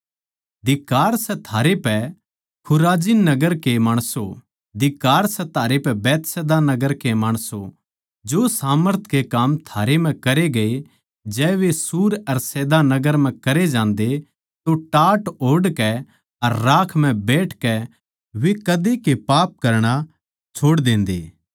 धिक्कार सै थारै पै खुराजिन नगर के माणसों धिक्कार सै थारै पै बैतसैदा नगर के माणसों जो सामर्थ के काम थारै म्ह करे गये जै वे सूर अर सैदा नगर म्ह करे जान्दे तो टाट ओढ़ कै अर राख म्ह बैठकै वे कदे के पाप करणा छोड़ देन्दे